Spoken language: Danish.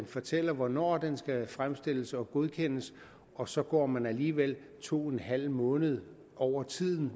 fortæller hvornår den skal fremstilles og godkendes og så går man alligevel to en halv måned over tiden